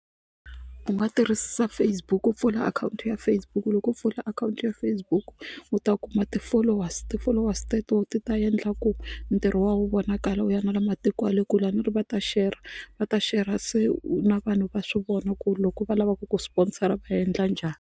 U nga tirhisa Facebook ku pfula akhawunti ya Facebook loko u pfula akhawunti ya Facebook u ta kuma ti-followers ti-followers teto ti ta endla ku ntirho wa vonakala wu ya na le matiko ya le kule a ri va ta shera va ta shera se na vanhu va swi vona ku loko va lavaka ku ku sponsor-a va endla njhani.